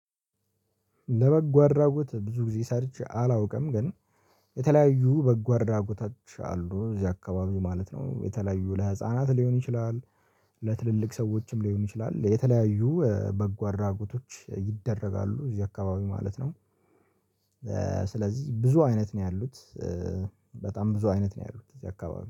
ለበጎ አድራጎት ብዙ ጊዜ ሰርቼ አላውቅም ግን የተለያዩ በጎ አድራጎታችን አሉ እዚህ አካባቢው ማለት ነው የተለያዩ ለህፃናት ሊሆን ይችላል። ለትልልቅ ሰዎችም ሊሆን ይችላል የተለያዩ በጎ አድራጎቶች ይደረጋሉ እዚህ አካባቢ ማለት ነው። ስለዚህ ብዙ አይነት ነው ያሉት። በጣም ብዙ አይነት ነው ያሉት እዚህ አካባቢ